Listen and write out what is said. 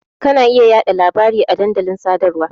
Ka na iya yaɗa labari a dandalin sadarwa.